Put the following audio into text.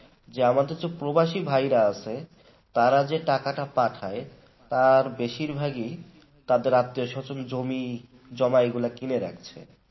যে আমাদের যে প্রবাসী ভাইয়েরা আছে তারা যে টাকাটা পাঠায় তার বেশির ভাগই তাদের আত্মীয়-স্বজন জমি কিনে রাখছে